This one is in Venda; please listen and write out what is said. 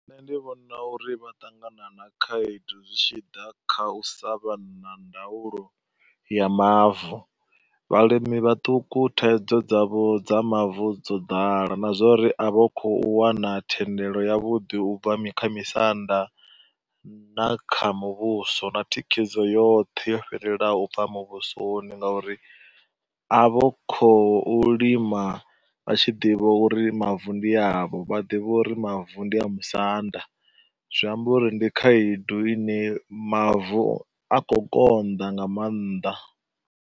Nṋe ndi vhona uri vha ṱangana na khaedu zwi tshi ḓa kha u sa vha na ndaulo ya mavu, vhalimi vhaṱuku thaidzo dzavho dza mavu dzo ḓala na zwa uri a vha kho u wana thendelo yavhuḓi u bva mikh, u bva kha misanda na kha muvhuso. Na thikhedzo yoṱhe yo fhelelaho u bva muvhusoni ngauri a vha kho u lima vha tshi ḓivha uri mavu ndi avho, vha ḓivha uri mavu ndi a musanda, zwi amba uri ndi khaedu ine mavu a kho u konḓa nga maanḓa.